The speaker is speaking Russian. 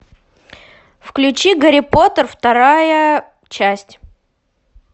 включи гарри поттер вторая часть